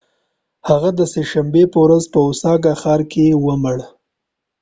هغه د سه شنبې په ورځ په اوساکا ښار کې ومړ